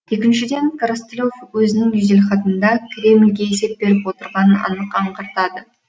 екіншіден коростылев өзінің жеделхатында кремльге есеп беріп отырғанын анық аңғартады